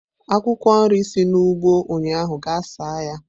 Akwụkwọ nri si n'ugbo ụnyaahụ gaa saa ya!